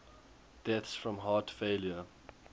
deaths from heart failure